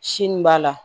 Sini b'a la